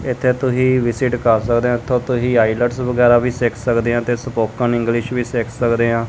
ਇਥੇ ਤੁਸੀਂ ਵਿਜਿਟ ਕਰ ਸਕਦੇ ਆ ਤੁਸੀਂ ਆਈਲੈਟਸ ਵਗੈਰਾ ਵੀ ਸਿੱਖ ਸਕਦੇ ਆ ਤੇ ਸਪੋਕਨ ਇੰਗਲਿਸ਼ ਵੀ ਸਿੱਖ ਸਕਦੇ ਆਂ।